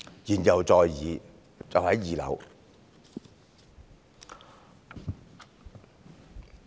"言猶在耳。